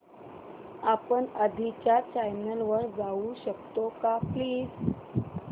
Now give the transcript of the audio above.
आपण आधीच्या चॅनल वर जाऊ शकतो का प्लीज